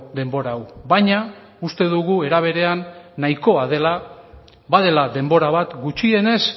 denbora hau baina uste dugu era berean nahikoa dela badela denbora bat gutxienez